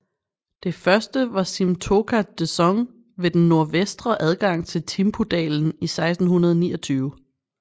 Det første var Simthokha dzong ved den nordvestre adgang til Thimpudalen i 1629